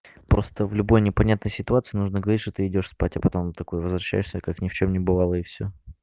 просто в любой непонятной ситуации нужно говорить что ты идёшь спать а потом такой возвращайся как ни в чем ни бывало и всё